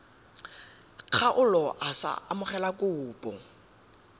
kgaolo a sa amogele kopo